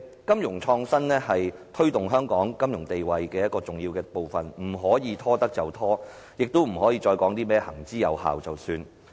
金融創新是推動香港金融地位的重要部分，不可拖延下去，亦不可以再說甚麼行之有效便算了。